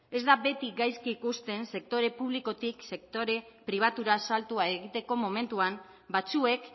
ez da beti gaizki ikusten sektore publikotik sektore pribaturaz saltua egiteko momentuan batzuek